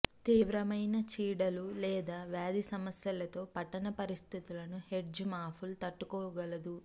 తీవ్రమైన చీడలు లేదా వ్యాధి సమస్యలతో పట్టణ పరిస్థితులను హెడ్జ్ మాపుల్ తట్టుకోగలదు